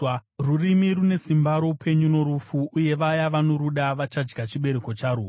Rurimi rune simba roupenyu norufu, uye vaya vanoruda vachadya chibereko charwo.